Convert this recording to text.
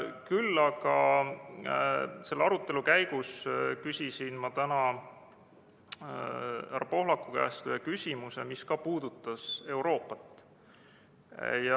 Küll aga küsisin selle arutelu käigus täna härra Pohlaku käest ühe küsimuse, mis ka puudutas Euroopat.